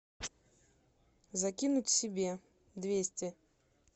закинуть себе двести